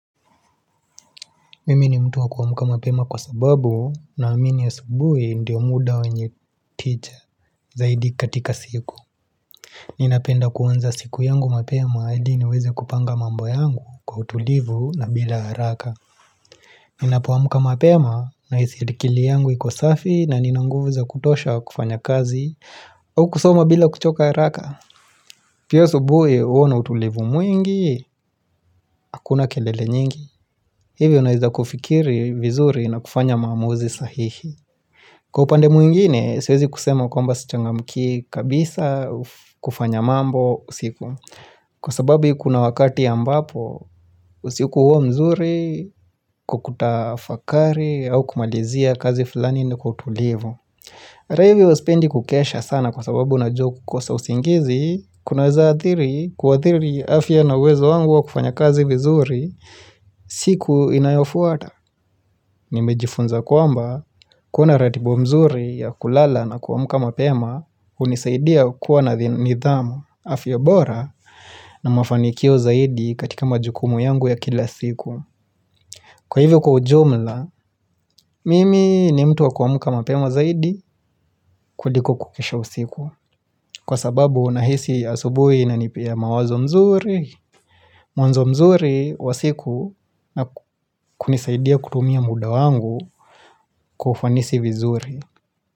Mimini mtu wa kuamuka mapema kwa sababu na amini asubuhi ndio muda wenye tija zaidi katika siku. Ninapenda kuanza siku yangu mapema ili niweze kupanga mambo yangu kwa utulivu na bila haraka. Ninapoamuka mapema na hisi akili yangu iko safi na nina nguvu za kutosha kufanya kazi au kusoma bila kuchoka haraka. Pia subuhi uona utulivu mwingi, hakuna kelele nyingi. Hivyo naweza kufikiri vizuri na kufanya maamuzi sahihi Kwa upande mwingine siwezi kusema kumba sichanga mkii kabisa kufanya mambo usiku Kwa sababu kuna wakati ambapo usiku huo mzuri kwakuta fakari au kumalizia kazi fulani ni kutulivu Ata hivyo spendi kukesha sana kwa sababu najua kukosa usingizi kunaweza athiri kua athiri afya na uwezo wangu wa kufanya kazi vizuri siku inayofuata Nimejifunza kwamba, kuwa ratiba nzuri ya kulala na kuamuka mapema, unisaidia kuwa na nidhamu afya bora na mafanikio zaidi katika majukumu yangu ya kila siku. Kwa hivyo kwa ujumla, mimi ni mtu wa kuamuka mapema zaidi kuliko kukesha usiku. Kwa sababu, nahisi asubui ina nipia mawazo mazuri, mwanzo mzuri wa siku na kunisaidia kutumia muda wangu kufanisi vizuri.